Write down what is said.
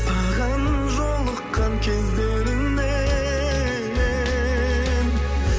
саған жолыққан кездерімнен